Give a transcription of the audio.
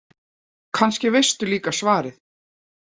Kannski veistu líka svarið.